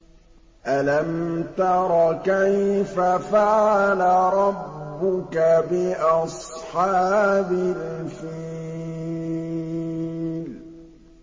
أَلَمْ تَرَ كَيْفَ فَعَلَ رَبُّكَ بِأَصْحَابِ الْفِيلِ